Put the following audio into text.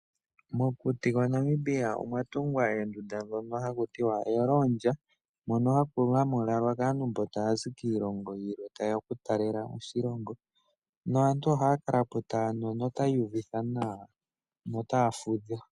Mokuti kwa Namibia omwa tungwa oondunda hadhilwalwa kaantu mbono ta yazi kiilongo yilwe ta yeya oku talela oshilongo, mpoka aantu ha ya kalapo ta yanu yo ota ya iyuvitha nawa, yo ota ya fudha.